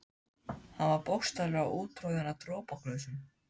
Hann var bókstaflega úttroðinn af dropaglösum.